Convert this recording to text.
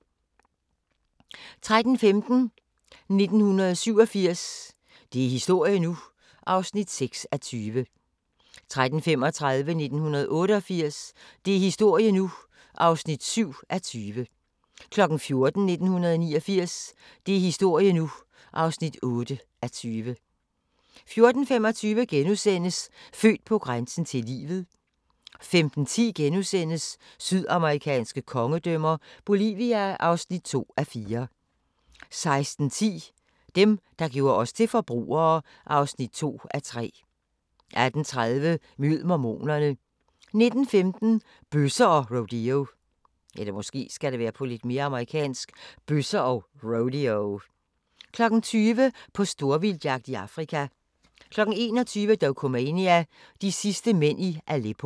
13:15: 1987 – det er historie nu! (6:20) 13:35: 1988 – det er historie nu! (7:20) 14:00: 1989 – det er historie nu! (8:20) 14:25: Født på grænsen til livet * 15:10: Sydamerikanske kongedømmer – Bolivia (2:4)* 16:10: Dem, der gjorde os til forbrugere (2:3) 18:30: Mød mormonerne 19:15: Bøsser og rodeo 20:00: På storvildtsjagt i Afrika 21:00: Dokumania: De sidste mænd i Aleppo